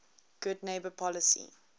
good neighbor policy